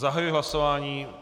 Zahajuji hlasování.